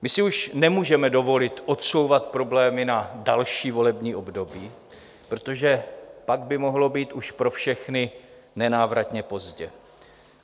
My si už nemůžeme dovolit odsouvat problémy na další volební období, protože pak by mohlo být už pro všechny nenávratně pozdě.